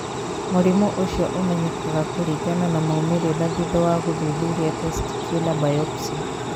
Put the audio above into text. Mũrimũ ũcio ũmenyekaga kũringana na maũmĩrĩra thutha wa gũthuthuria testicular biopsy.